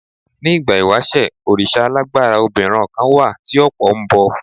Ní ìgbà ìwàṣẹ̀, òrìṣà alágbára obinron kan tí ọ̀pọ̀ ń bọ.